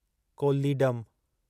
Kollidam